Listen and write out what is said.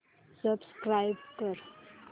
subscribe कर